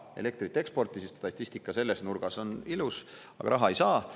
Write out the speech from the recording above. Elektrit eksporti…, siis statistika selles nurgas on ilus, aga raha ei saa.